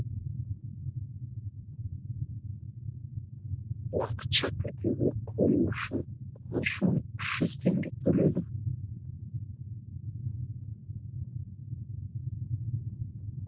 уақытша тіркеуге қою үшін он үш мың үш жүз тенге төледім